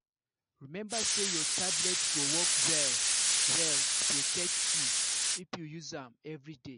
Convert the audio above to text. remember say your tablet go work well-well to protect protect you if you use am every day.